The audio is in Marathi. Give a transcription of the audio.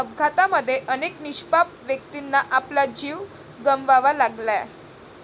अपघातामध्ये अनेक निष्पाप व्यक्तींना आपला जीव गमवावा लागलाय.